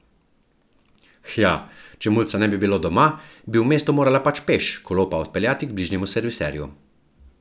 Hja, če mulca ne bi bilo doma, bi v mesto morala pač peš, kolo pa odpeljati k bližnjemu serviserju.